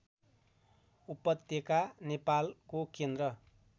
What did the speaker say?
उपत्यका नेपालको केन्द्र